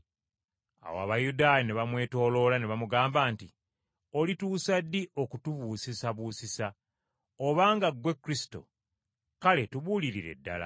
Awo Abayudaaya ne bamwetooloola ne bamugamba nti, “Olituusa ddi okutubuusisabuusisa? Obanga ggwe Kristo kale tubuulirire ddala.”